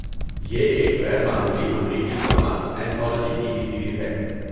یہ ایک غیر معمولی، امریکی drama anthology T V series ہے۔